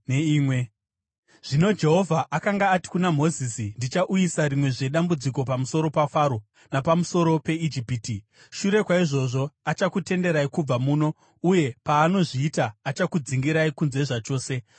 Zvino Jehovha akanga ati kuna Mozisi, “Ndichauyisa rimwezve dambudziko pamusoro paFaro napamusoro peIjipiti. Shure kwaizvozvo, achakutenderai kubva muno, uye paanozviita, achakudzingirai kunze zvachose.